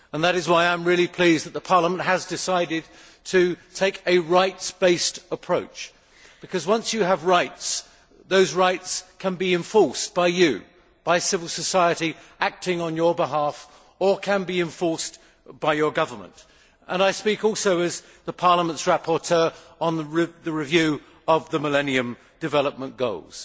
That is why I am really pleased that the Parliament has decided to take a rights based approach, because once you have rights, those rights can be enforced by you, by civil society acting on your behalf, or can be enforced by your government and I speak also as Parliament's rapporteur on the review of the Millennium Development Goals.